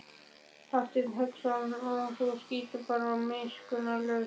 Hafsteinn Hauksson: Og þú skýtur þá bara miskunnarlaust?